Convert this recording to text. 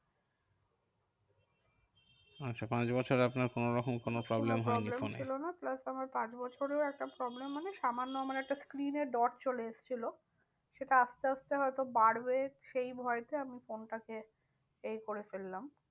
আচ্ছা পাঁচ বছর আপনার কোনোরকম কোনো problem কোনো হয়নি problem ছিল ফোনে। না, plus আমার পাঁচ বছরেও একটা problem মানে সামান্য আমার একটা screen এ dot চলে এসেছিলো। সেটা আস্তে আস্তে হয়তো বার হয়ে সেই ভয়তে আমি ফোনটাকে এই করে ফেললাম।